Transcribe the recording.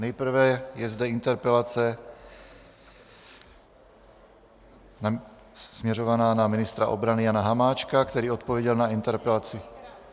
Nejprve je zde interpelace směřovaná na ministra obrany Jana Hamáčka, který odpověděl na interpelaci...